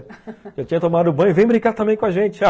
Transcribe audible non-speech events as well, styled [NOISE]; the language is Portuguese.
[LAUGHS] Eu já tinha tomado banho, vem brincar também com a gente.